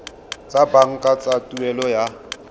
tsa banka tsa tuelo ya